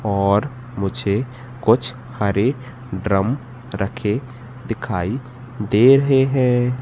और मुझे कुछ हरे ड्रम रखे दिखाई दे रहे हैं।